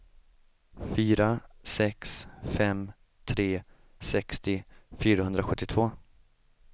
fyra sex fem tre sextio fyrahundrasjuttiotvå